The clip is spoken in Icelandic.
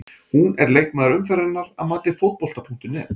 Hún er leikmaður umferðarinnar að mati Fótbolta.net.